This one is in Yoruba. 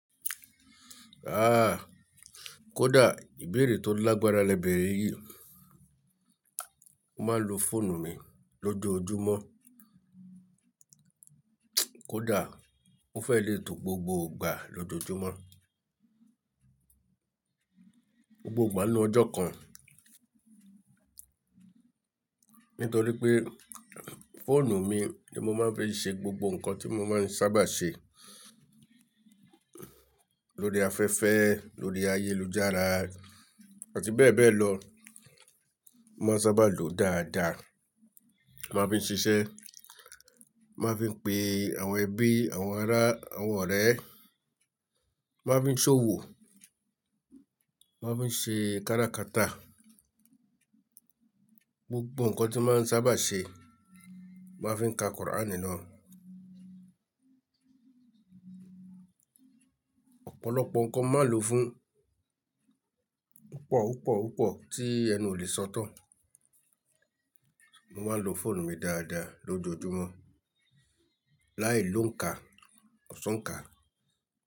Ah! Kódà ìbéèrè tó lágbára lẹ́bẹ̀rẹ̀ yìí, mo máa ń lo fóònù mi lójoojúmọ́. Kódà mo fẹ́ lè tó gbogbo ìgbà lójoojúmọ́, gbogbo ìgbà ní ọjọ́ kan. Nítorí pé fóònù mi ni mo máa ń fi ṣe gbogbo nǹkan tí mo máa ń sábà ṣe lórí afẹ́fẹ́, lórí ayélujára àti bẹ́ẹ̀ bẹ́ẹ̀ lọ. Mo máa ń sábà lòó dáadáa. Mo máa ń fi ń ṣiṣẹ́, mo máa ń fi ń pe àwọn ẹbí, àwọn ará, àwọn ọ̀rẹ́, mo máa ń fi ń ṣòwò, mo máa ń fi ń ṣe kára kata, gbogbo nǹkan tí mo máa ń sábà ṣe. Mo máa ń fi ka Qur'ân nínú ọ́. Ọ̀pọ̀lọpọ̀ nǹkan mo máa lòó fún, ó pọ̀, ó pọ̀, ó pọ̀ tí ẹnu ò lè sọ tán. Mo máa ń lo fóònù mi dáadáa lójoojúmọ́, láì lo ń ka, kò ṣ'oún ka.